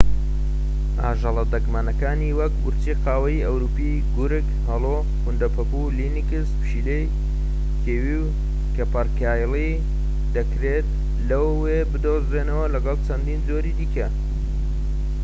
ئاژەڵە دەگمەنەکانی وەک ورچی قاوەیی ئەوروپی گورگ هەڵۆ کوندەپەپوو لینکس پشیلەی کێوی و کەپەرکایلی دەکرێت لەوێ بدۆزرێنەوە لەگەڵ چەندین جۆری دیکە